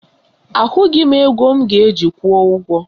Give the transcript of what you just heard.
Ahụghị m ego m ga-eji kwụọ ụgwọ